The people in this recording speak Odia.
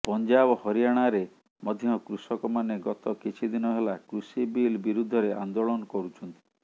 ପଞ୍ଜାବ ହରିୟାଣାରେ ମଧ୍ୟ କୃଷକମାନେ ଗତ କିଛିଦିନ ହେଲା କୃଷି ବିଲ୍ ବିରୁଦ୍ଧରେ ଆନ୍ଦୋଳନ କରୁଛନ୍ତି